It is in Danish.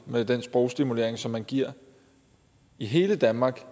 med den sprogstimulering som man giver i hele danmark